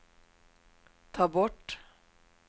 ta bort